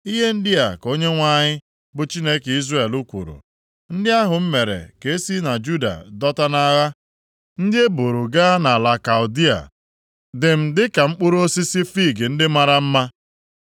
“Ihe ndị a ka Onyenwe anyị, bụ Chineke Izrel kwuru: Ndị ahụ m mere ka e si na Juda dọta nʼagha, ndị e buuru gaa nʼala Kaldịa dị m dịka mkpụrụ osisi fiig ndị a mara mma.